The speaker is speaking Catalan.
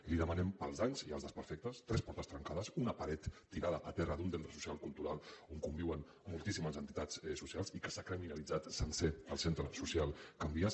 li demanem pels danys i els desperfectes tres portes trencades una paret tirada a terra d’un centre social cultural on conviuen moltíssimes entitats socials i s’ha criminalitzat sencer el centre social can vies